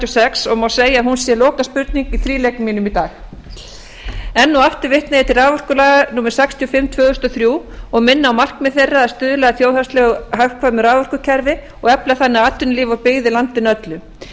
sex og má segja að hún sé lokaspurning í þríleik mínum í dag enn og aftur vitna ég til raforkulaga númer sextíu og fimm tvö þúsund og þrjú og minni á markmið þeirra að stuðla að þjóðhagslega hagkvæmu raforkukerfi og efla þannig atvinnulíf og byggð í landinu öllu